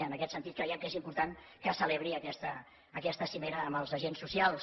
en aquest sentit creiem que és important que se celebri aquesta cimera amb els agents socials